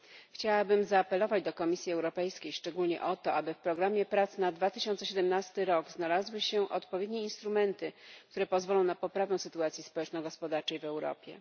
Chciałabym zaapelować do Komisji Europejskiej szczególnie o to, aby w programie prac na 2017 rok znalazły się odpowiednie instrumenty, które pozwolą na poprawę sytuacji społeczno gospodarczej w Europie.